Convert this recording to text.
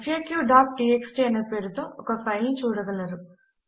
faqటీఎక్స్టీ అనే పేరుతో ఒక ఫైల్ ను చూడగలరు